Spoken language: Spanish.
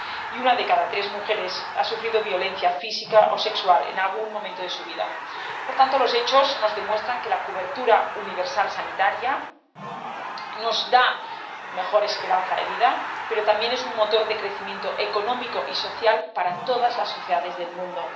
Y una de cada tres mujeres ha sufrido violencia física o sexual en algún momento de su vida. Por tanto, los hechos nos demuestran que la cobertura universal sanitaria nos da mejor esperanza de vida, pero también es un motor de crecimiento económico y social para todas las sociedades del mundo.